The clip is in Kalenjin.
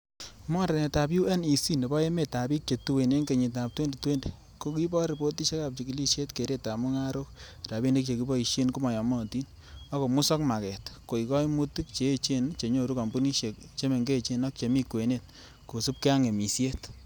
Mornetab UNEC nebo emetab bik che tuen en kenyitab 2020,Kokibor ripotisiekab chigilisiet keretab mungarok, rabinik che kiboishe komoyomotin, ak komosok maaget, koik koimutik che echen chenyoru kompunisiek che mengechen ak chemi kwenet kosiibge ak ng'emisiet.